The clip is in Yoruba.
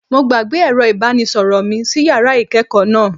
Mo gbàgbé ẹ̀rọ ìbánisọ̀rọ̀ mi sí yàrá ìkẹ́ẹ̀kọ̀ náà.